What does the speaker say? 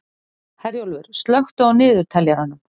Herjólfur, slökktu á niðurteljaranum.